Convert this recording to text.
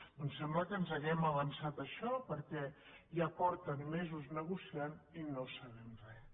doncs sembla que ens hàgim avançat a això perquè ja fa mesos que negocien i no sabem res